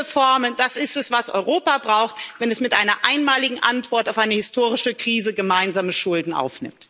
Mehr Reformen, das ist es, was Europa braucht, wenn es mit einer einmaligen Antwort auf eine historische Krise gemeinsame Schulden aufnimmt.